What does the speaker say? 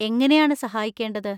എങ്ങനെയാണ് സഹായിക്കേണ്ടത്?